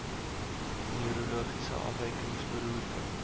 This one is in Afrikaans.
neurologiese afwykings beroerte